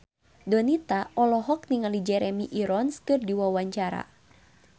Donita olohok ningali Jeremy Irons keur diwawancara